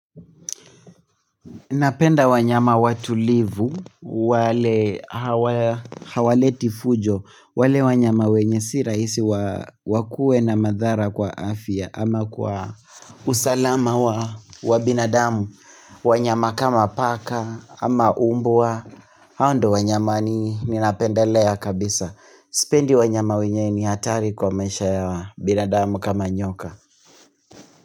Napenda wanyama watulivu, wale hawaleti fujo, wale wanyama wenye siraisi wakuwe na madhara kwa afya ama kwa usalama wa binadamu, wanyama kama paka ama mbwa, hao ndio wanyama ni napenda lea kabisa. Sipendi wanyama wenye ni hatari kwa maisha ya binadamu kama nyoka.